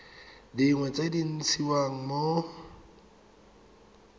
dingwe tse di ntshiwang mo